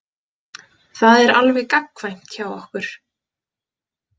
Það er alveg gagnkvæmt hjá okkur.